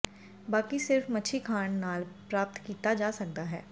ਬਾਕੀ ਸਿਰਫ ਮੱਛੀ ਖਾਣ ਨਾਲ ਪ੍ਰਾਪਤ ਕੀਤਾ ਜਾ ਸਕਦਾ ਹੈ